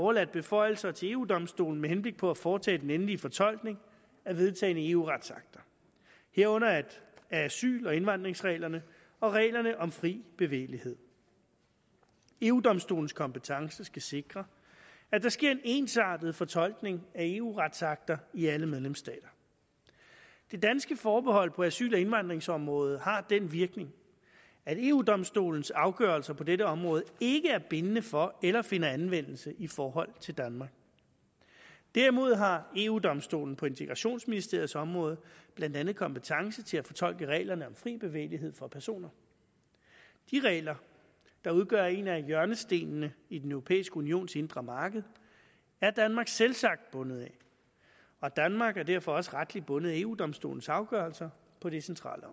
overladt beføjelser til eu domstolen med henblik på at foretage den endelige fortolkning af vedtagne eu retsakter herunder asyl og indvandringsreglerne og reglerne om fri bevægelighed eu domstolens kompetence skal sikre at der sker en ensartet fortolkning af eu retsakter i alle medlemsstater det danske forbehold på asyl og indvandringsområdet har den virkning at eu domstolens afgørelser på dette område ikke er bindende for eller finder anvendelse i forhold til danmark derimod har eu domstolen på integrationsministeriets område blandt andet kompetence til at fortolke reglerne om fri bevægelighed for personer de regler der udgør en af hjørnestenene i den europæiske unions indre marked er danmark selvsagt bundet af og danmark er derfor også retligt bundet af eu domstolens afgørelser på de centrale